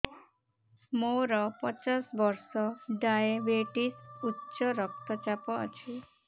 ମୋର ପଚାଶ ବର୍ଷ ଡାଏବେଟିସ ଉଚ୍ଚ ରକ୍ତ ଚାପ ଅଛି